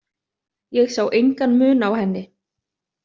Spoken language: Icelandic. Ég sá engan mun á henni.